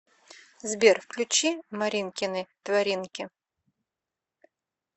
сбер включи маринкины творинки